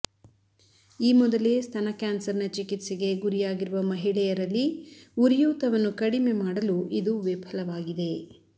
ಈ ಮೊದಲೇ ಸ್ತನ ಕ್ಯಾನ್ಸರ್ ನ ಚಿಕಿತ್ಸೆಗೆ ಗುರಿಯಾಗಿರುವ ಮಹಿಳೆಯರಲ್ಲಿ ಉರಿಯೂತವನ್ನು ಕಡಿಮೆ ಮಾಡಲು ಇದು ವಿಫಲವಾಗಿದೆ